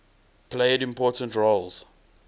played important roles